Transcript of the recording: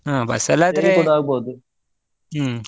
ಅಹ್ bus ಅಲ್ಲಿ ಹ್ಮ್.